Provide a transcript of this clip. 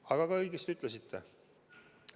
Aga te ütlesite õigesti.